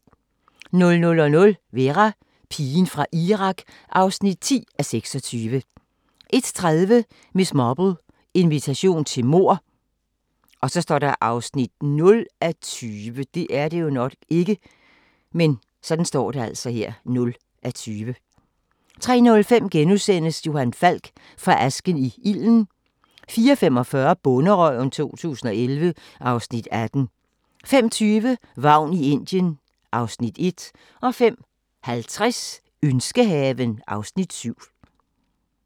00:00: Vera: Pigen fra Irak (10:26) 01:30: Miss Marple: Invitation til mord (0:20) 03:05: Johan Falk: Fra asken i ilden * 04:45: Bonderøven 2011 (Afs. 18) 05:20: Vagn i Indien (Afs. 1) 05:50: Ønskehaven (Afs. 7)